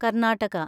Karnataka